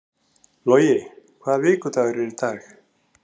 Logi, hvaða vikudagur er í dag?